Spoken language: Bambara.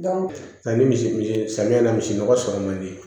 ni misi samiya na misi nɔgɔ sɔrɔ man di